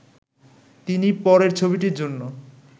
তিনি পরের ছবিটির জন্য